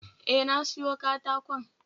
E, na siyo katakon